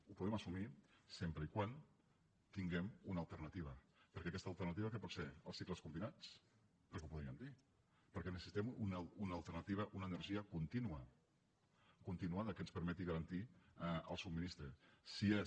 ho podem assumir sempre que tinguem una alternativa perquè aquesta alternativa què pot ser els cicles combinats perquè ho podríem dir perquè necessitem una alternativa una energia contínua continuada que ens permeti garantir el subministrament